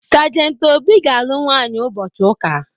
Sajentị Obi ga-alụ nwaanyị ụbọchị ụka.